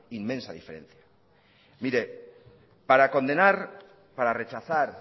inmensa diferencia mire para condenar para rechazar